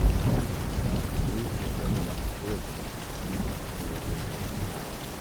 gbàrà tí èròjà náà bá ti kúrò nínú ara rẹ ó yẹ kó dáa